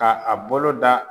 K'a a bolo da